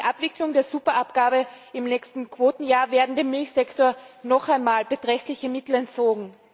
Durch die Abwicklung der Superabgabe im nächsten Quotenjahr werden dem Milchsektor noch einmal beträchtliche Mittel entzogen.